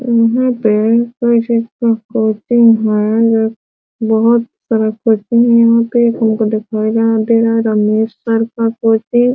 यहाँ पे कोई चीज़ का शूटिंग है | बहुत सारा